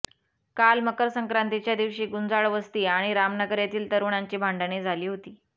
काल मकरसंक्रांतीच्या दिवशी गुंजाळ वस्ती आणि रामनगर येथील तरुणांची भांडणे झाली होती